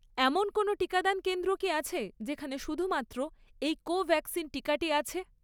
এমন কোনও টিকাদান কেন্দ্র কি আছে, যেখানে শুধুমাত্র এই কোভ্যাক্সিন টিকাটি আছে?